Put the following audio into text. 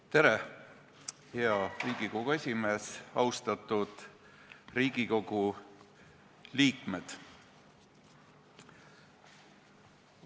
Tere, hea Riigikogu esimees ja austatud Riigikogu liikmed!